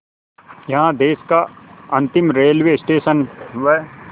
यहाँ देश का अंतिम रेलवे स्टेशन व